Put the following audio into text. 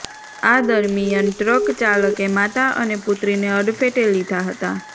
આ દરમિયાન ટ્રક ચાલકે માતા અને પુત્રીને અડફેટે લીધા હતાં